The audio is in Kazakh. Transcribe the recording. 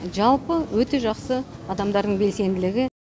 жалпы өте жақсы адамдардың белсенділігі